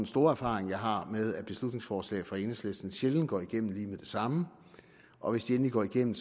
store erfaring jeg har med at beslutningsforslag fra enhedslisten sjældent går igennem lige med det samme og hvis de endelig går igennem